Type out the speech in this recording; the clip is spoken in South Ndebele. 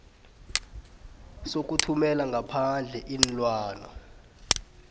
sokuthumela ngaphandle iinlwana